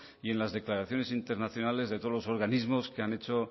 y en las declaraciones internacionales de todos los organismos que han hecho